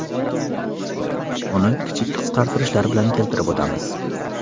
Uni kichik qisqartirishlar bilan keltirib o‘tamiz.